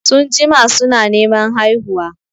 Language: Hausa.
Sun jima su na Neman haihuwa